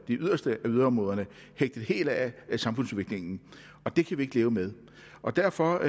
yderste af yderområderne hægtet helt af samfundsudviklingen det kan vi ikke leve med derfor